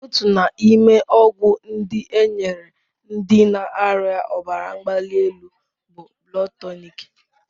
Otu n'ime ọgwụ ndị e nyere ndị na-arịa ọbara mgbali elu bụ Blood Tonic.